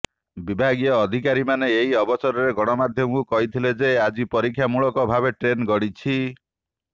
ବିଭାଗୀୟ ଅଧିକାରୀମାନେ ଏହି ଅବସରରେ ଗଣମାଧ୍ୟମକୁ କହିଥିଲେ ଯେ ଆଜି ପରୀକ୍ଷା ମୂଳକ ଭାବେ ଟ୍ରେନ୍ ଗଡିଛି